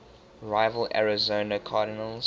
rival arizona cardinals